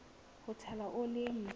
ho tshela oli e ntjha